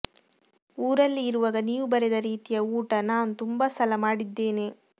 ಊರಲ್ಲಿ ಇರುವಾಗ ನೀವು ಬರೆದ ರೀತಿಯ ಊಟ ನಾನು ತುಂಬ ಸಲ ಮಾಡಿದ್ದೇನೆ